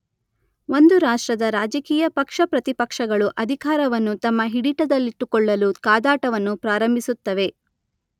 ಒಂದು ರಾಷ್ಟ್ರದ ರಾಜಕೀಯ ಪಕ್ಷ ಪ್ರತಿಪಕ್ಷಗಳು ಅಧಿಕಾರವನ್ನು ತಮ್ಮ ಹಿಡಿತದಲ್ಲಿಟ್ಟುಕೊಳ್ಳಲು ಕಾದಾಟವನ್ನು ಪ್ರಾರಂಭಿಸುತ್ತವೆ.